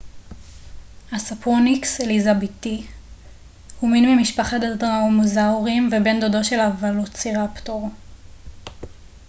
הספרוניקס אליזבתי הוא מין ממשפחת הדרומאוזאוריים ובן דודו של הוולוצירפטור